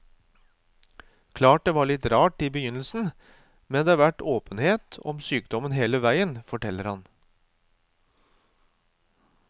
Klart det var litt rart i begynnelsen, men det har vært åpenhet om sykdommen hele veien, forteller han.